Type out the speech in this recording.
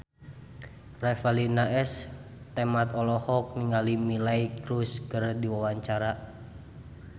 Revalina S. Temat olohok ningali Miley Cyrus keur diwawancara